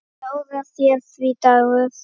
Ráða þeir því, Dagur?